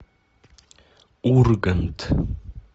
ургант